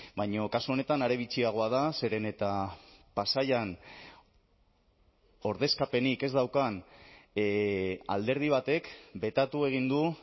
baina kasu honetan are bitxiagoa da zeren eta pasaian ordezkapenik ez daukan alderdi batek betatu egin du